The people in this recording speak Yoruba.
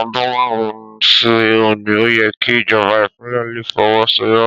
Ọdún márùn-ún sí òní, ó yẹ kí ìjọba Ìpínlẹ̀ le fọwọ́ sọ̀yà